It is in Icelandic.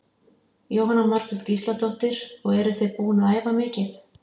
Jóhanna Margrét Gísladóttir: Og eruð þið búin að æfa mikið?